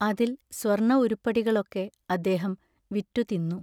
അതിൽ സ്വർണ ഉരുപ്പടികളൊക്കെ അദ്ദേഹം വിറ്റു തിന്നു.